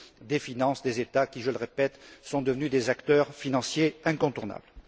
des finances des États qui, je le répète, sont devenus des acteurs financiers incontournables.